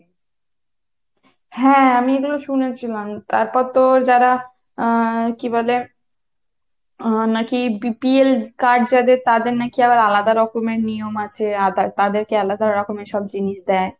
হ্যা আমি এগুলো শুনেছিলাম, তারপর তো যারা আহ কী বলে নাকি BPL card যাদের তাদের নাকি আবার আলাদা রকমের নিয়ম আছে। তাদের কে আলাদা রকমের সব জিনিস দেয়।